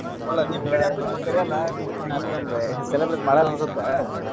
ಅಲ್ಲಾ ನಿಮ್ಮ್ ಕಡೆ ಅಂತು ನೀವ್ ಕರಿಯಲ್ಲಾ ನಿವೇನ್ ಅಷ್ಟೊಂದ್ celebrate ಮಾಡಲ್ಲಾ ಅನ್ಸುತ್ತೆ.